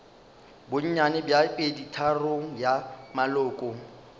bonnyane bja peditharong ya maloko